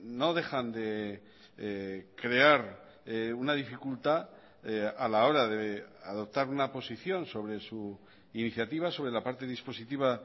no dejan de crear una dificultad a la hora de adoptar una posición sobre su iniciativa sobre la parte dispositiva